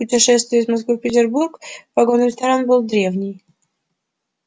путешествие из москвы в петербург вагон-ресторан был древний